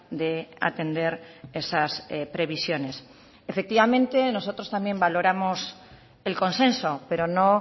de atender esas previsiones efectivamente nosotros también valoramos el consenso pero no